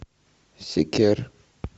секер